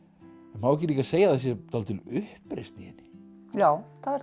má ekki líka segja að það sé dálítil uppreisn í henni já það er